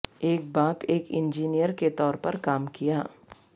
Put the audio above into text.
ایک باپ ایک انجنیئر کے طور پر کام کیا